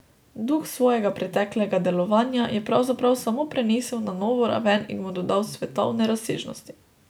Duh svojega preteklega delovanja je pravzaprav samo prenesel na novo raven in mu dodal svetovne razsežnosti.